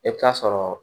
E bɛ taa sɔrɔ